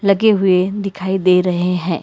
गे हुए दिखाई दे रहे हैं।